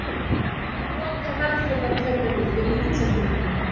Loka velferðarkerfinu fyrir útlendingum